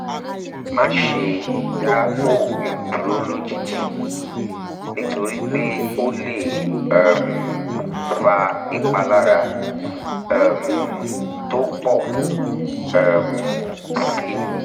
má ṣe dá oògùn dúró lójijì nítorí pé ó lè um fa ìpalára um tó pọ̀ um sí i